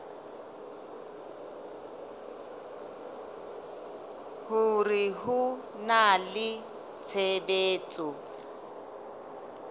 hore ho na le tshebetso